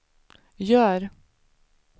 gör